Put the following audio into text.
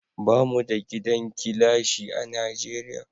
Bamu da gidan gilashi a Najeriya